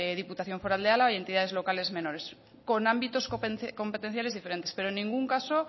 diputación foral de álava y entidades locales menores con ámbitos competenciales diferentes pero en ningún caso